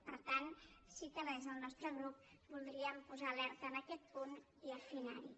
per tant sí que des del nostre grup voldríem posar l’alerta en aquest punt i afinarlo